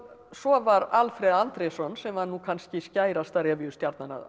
svo var Alfred Andrésson sem var kannski skærasta